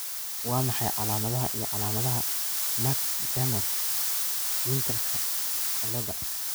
Waa maxay calaamadaha iyo calaamadaha Mac Dermot Winterka ciladha?